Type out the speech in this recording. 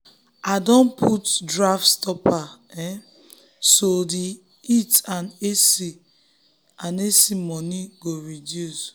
i don put draft stopper um so the um heat and ac and ac money go um reduce.